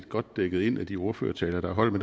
godt dækket ind af de ordførertaler der er holdt